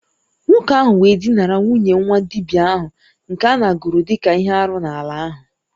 Nwoke ahu we dinara nwunye nwa-dibia ahu nke anāguru dika ihe-árú n'ala ahu